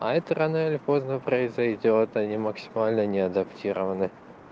а это рано или поздно произойдёт они максимально не адаптированы